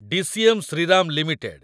DCM Shriram limited